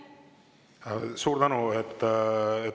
Suur tänu!